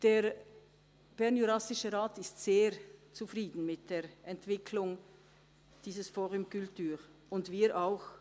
Der BJR ist sehr zufrieden mit der Entwicklung dieses «fOrum culture» und wir auch.